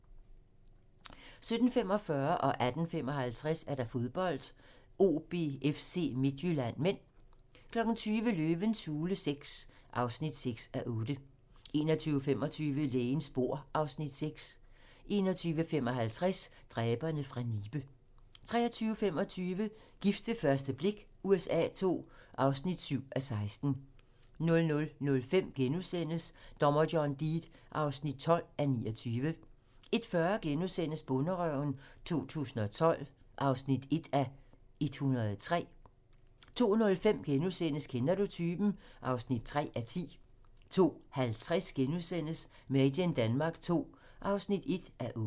17:45: Fodbold: OB-FC Midtjylland (m) 18:55: Fodbold: OB-FC Midtjylland (m) 20:00: Løvens hule VI (6:8) 21:25: Lægens bord (Afs. 6) 21:55: Dræberne fra Nibe 23:25: Gift ved første blik USA II (7:16) 00:05: Dommer John Deed (12:29)* 01:40: Bonderøven 2012 (1:103)* 02:05: Kender du typen? (3:10)* 02:50: Made in Denmark II (1:8)*